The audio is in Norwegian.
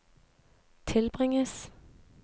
tilbringes